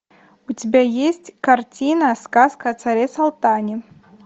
у тебя есть картина сказка о царе салтане